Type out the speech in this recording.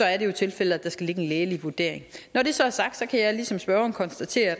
er det jo tilfældet at der skal ligge en lægelig vurdering når det så er sagt kan jeg ligesom spørgeren konstatere